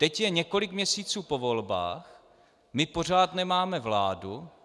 Teď je několik měsíců po volbách, my pořád nemáme vládu.